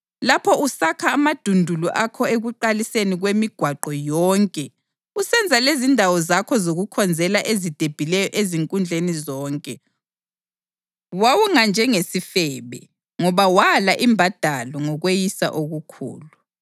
Lapho usakha amadundulu akho ekuqaliseni kwemigwaqo yonke usenza lezindawo zakho zokukhonzela ezidephileyo ezinkundleni zonke, wawunganjengesifebe, ngoba wala imbadalo ngokweyisa okukhulu.